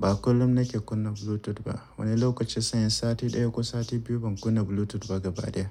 ba kullin nike kunna Bluetooth ba wani lokacin sai inyi sati ɗaya ko sati biyu ban kunna Bluetooth ba gaba daya.